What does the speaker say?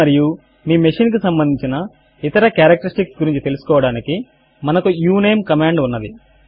దీనిని మరియు మీ మెషీన్ కు సంబంధించిన ఇతర కారెక్టరిస్టిక్స్ గురించి తెలుసుకోవడానికి మనకు ఉనమే కమాండ్ ఉన్నది